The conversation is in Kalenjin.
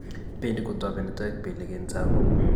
Bendi kutobeni toek belik eng' Tsavo